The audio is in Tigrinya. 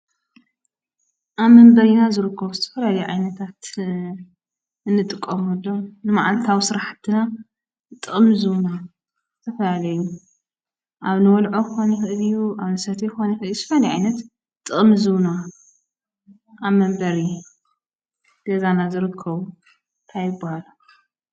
ኣብ መንበሪና ዝርከቡ ዝተፈላለዩ ዓይነታት ንጥቀመሎም መዓልታዊ ስራሕትና ጥቕሚ ዝህቡና ዝተፈላለዩ ኣብ ንበልዖ ክኾን ይኽእል እዩ፣ ኣብ ንሰትዮ ክኾን ይኽእል እዩ፣ ዝኾነ ዓይነት ጥቕሚ ዝህቡና ኣብ መንበሪ ገዛና ዝርከቡ እንታይ ይብሃሉ?